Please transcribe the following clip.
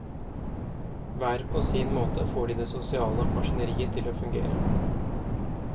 Hver på sin måte får de det sosiale maskineriet til å fungere.